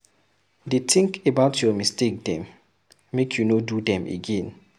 Dey tink about your mistake dem make you no do dem again.